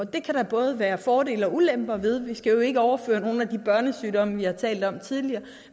det kan der både være fordele og ulemper ved vi skal jo ikke overføre nogle af de børnesygdomme vi har talt om tidligere